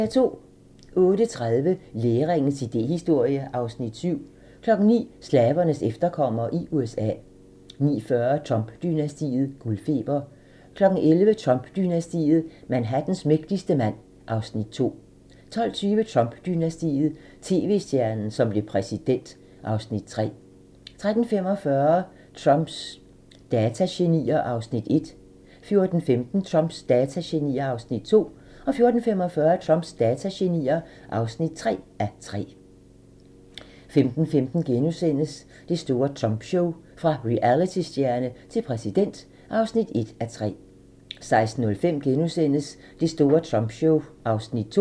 08:30: Læringens idéhistorie (Afs. 7) 09:00: Slavernes efterkommere i USA 09:40: Trump-dynastiet: Guldfeber 11:00: Trump-dynastiet: Manhattans mægtigste mand (Afs. 2) 12:20: Trump-dynastiet: TV-stjernen, som blev præsident (Afs. 3) 13:45: Trumps datagenier (1:3) 14:15: Trumps datagenier (2:3) 14:45: Trumps datagenier (3:3) 15:15: Det store Trump show: Fra realitystjerne til præsident (1:3)* 16:05: Det store Trumpshow (2:3)*